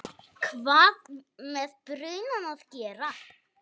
hvað með brunann að gera.